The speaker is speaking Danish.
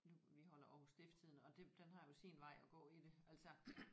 Nu vi holder Aarhus Stifstidende og det den har jo sin vej at gå i det altså